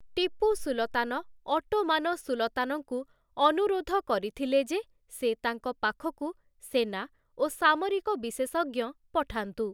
Tipu Sultan Ottoman ସୁଲତାନଙ୍କୁ ଅନୁରୋଧ କରିଥିଲେ ଯେ ସେ ତାଙ୍କ ପାଖକୁ ସେନା ଓ ସାମରିକ ବିଶେଷଜ୍ଞ ପଠାନ୍ତୁ ।